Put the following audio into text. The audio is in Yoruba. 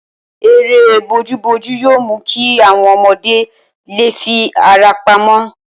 Eré bojúbojú yóò mú kí àwọn ọmọdé lè fi ara pamọ́